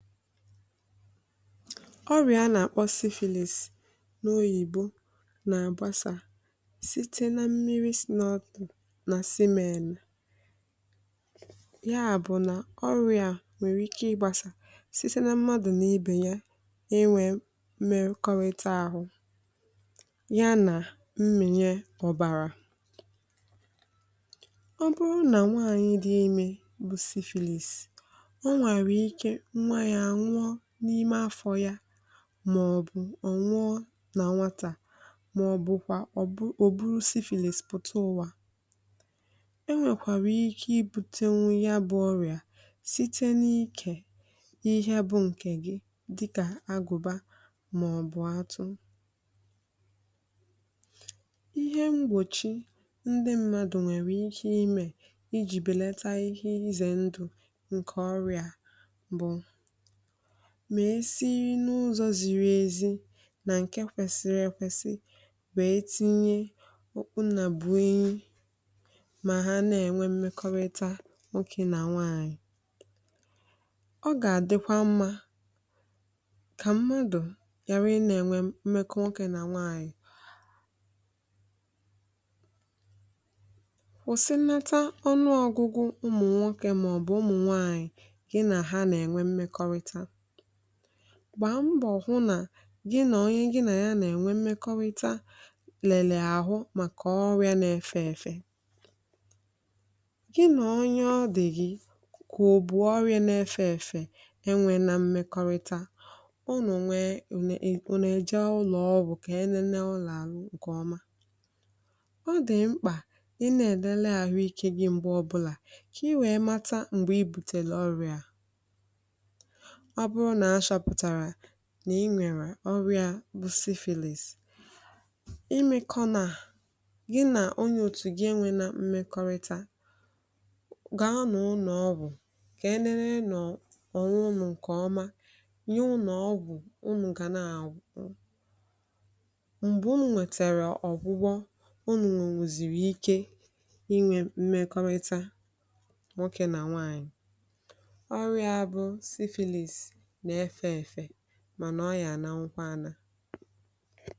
ọrịà a nà-àkpọ syphilis n’Oyibo nà-àgbasà site na mmiri sī n’ọtụ̀ nà semen ya bụ̀ nà ọrịa à nwerè ike ịgbasà sise na mmadụ̀ nà ibe ya inwē mmekọrịta āhụ̄ ya nà mmìnye ọ̀bàrà ọ bụrụ nà nwaànyị dị imē bù syphilis o nwèrè ike nwa yā ànwụọ n’ime afọ̄ yā màọ̀bụ̀ ọ̀ nwụọ nà nwatà màọ̀bụ̀kwà̀ ọ̀ bụ ò buru syphillis pụ̀ta ụ̀wà e nwèkwàrà ike ibūtēnwū ya bụ̄ ọrịa site n’ikè ihe bụ̄ ṅ̀kè gị dịkà agụ̀ba màọ̀bụ̀ atụ ihe mgbòchi ndị mmadụ̀ nwèrè ike imēè ijì bèlata ike izè ndụ̀ ṅ̀kè ọrịa à bụ̀ mà e si n’ụzọ̄ ziri ezi nà ṅ̀ke kwesiri ekwesi wèe tinye òkpu nnàbụ̀enyi mà ha na-ènwe mmekọrịta nwokē nà nwaànyị̀ ọ gà-àdịkwa mmā kà mmadụ̀ ghàra ịnā-ènwe mmekọ nwoke nà nwaànyị kwụ̀sịnata ọnụọ̄gụ̄gụ̄ ụmụ̀ nwokē màọ̀bụ̀ ụmụ̀ nwaànyị̀ gị nà ha nà-ènwe mmekọrịta gbàa mbọ̀ hụ nà gị nà onye gị nà ya nà-ènwe mmekọrịta lèlèè àhụ màkà ọrị̄a nā-efē èfè Gị nà onye ọ dị̀ gị̀ kà ò bù ọrịā nā-efē èfè enwēnā mmekọrịta unù nwee ùnù e ùnù èjee ụlọ̀ọgwụ̀ kà e lelee unù àhụ ṅ̀kè ọma ọ dị̀ mkpà ịnā èlele ahụikē gị m̀gbe ọbụlà kà ị wèe mata m̀gbè i bùtèrè ọrịā à ọ bụrụ nà a chọ̄pụ̀tàrà nà i nwèrè ọrịā ā bụ syphilis i mēkọ̄n̄aà gị nà onye òtù gị enwēnā mmekọ̣rịta gàanụ ụlọ̀ọgwụ̀ kà e nenee nọ̀ ònwe unù ṅ̀kè ọma nye unù ọgwụ̀ unù gà na-àṅụ m̀gbè unū nwètèrè ọ̀gwụgwọ unù nwènwùzìrì ike inwē mmekọrịta nwokē nà nwaànyị̀ ọrịā à bụ syphilis nà-efē èfè mànà ọ yà ànanwukwa ānā